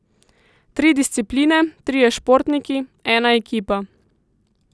Tri discipline, trije športniki, ena ekipa.